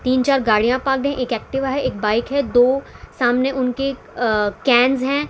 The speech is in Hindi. तीन चार गाड़ियां एक एक्टिव है एक बाइक है दो सामने उनके अ कैनस है।